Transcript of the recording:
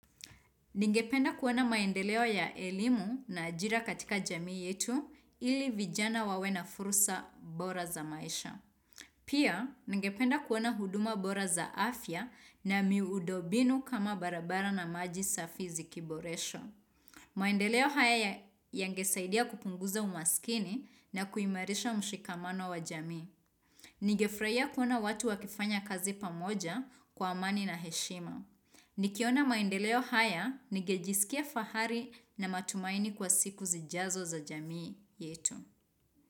Ningependa kuona maendeleo ya elimu na ajira katika jamii yetu ili vijana wawe na furusa bora za maisha. Pia, ningependa kuona huduma bora za afya na miundo mbinu kama barabara na maji safi zikiboreshwa maendeleo haya yangesaidia kupunguza umaskini na kuimarisha mshikamano wa jamii. Ningefurahia kuona watu wakifanya kazi pamoja kwa amani na heshima. Nikiona maendeleo haya, ningejisikia fahari na matumaini kwa siku zijazo za jamii yetu.